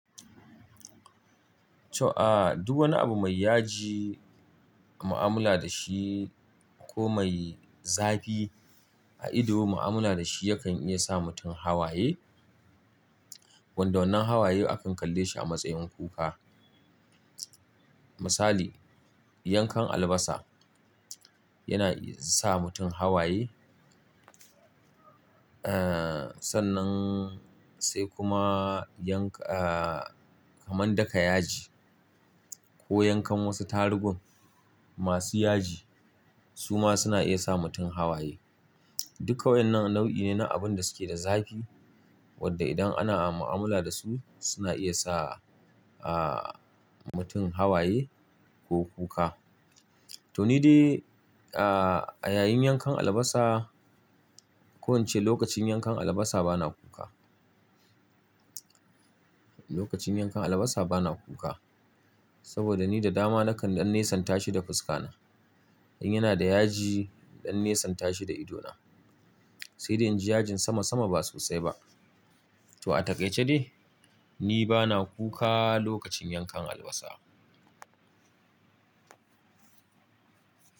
To, duk wani abu mai yaji, mu'amala da shi ko mai zafi a ido mu'amala da shi yakan iya sa mutum hawaye. Wanda wannan hawayen akan kalle shi a matsayin kuka. Misali, yankan albasa yana sa mutum hawaye. Sannan sai kuma yanka man daka yaji ko yankan wasu tarugun masu yaji su ma suna iya sa mutum hawaye. Duka waɗannan nau'i ne na abin da suke da zafi wadda idan ana mu'amala da su suna iya sa mutum hawaye ko kuka. To ni dai a yayin yankan albasa, ko in ce lokacin yankan albasa bana kuka. Lokacin yankan albasa bana kuka saboda ni da dama nakan dan nesa tashi da fuska na. In yana da yaji dan nesan tashi da ido na. Sai dai in ji yajin sama sama ba sosai ba. To a takaice dai ni bana kuka lokacin yankan albasa.